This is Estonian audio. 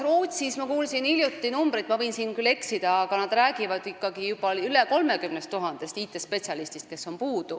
Ma kuulsin hiljuti , et Rootsis räägitakse juba sellest, et puudu on üle 30 000 IT-spetsialisti.